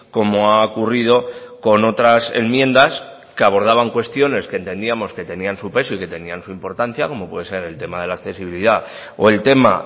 como ha ocurrido con otras enmiendas que abordaban cuestiones que entendíamos que tenían su peso y que tenían su importancia como pueden ser el tema de la accesibilidad o el tema